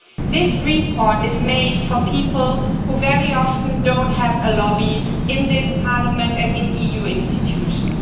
This report is made for people who very often do not have a lobby in this Parliament and in EU institutions.